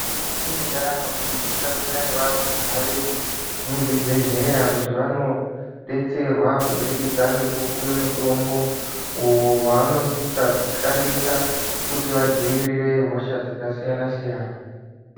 Mukati mwendaramo tinosisa kuenda nevarumbwana vedu muzvibhedhlera. Kuti vanobetserwa kubudikidza ngekupuhwa mutombo, uyo vaanosisa kushandisa kuti vadzivirire hosha dzakasiyana-siyana.